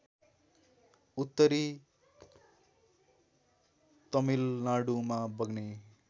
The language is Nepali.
उत्तरी तमिलनाडुमा बग्ने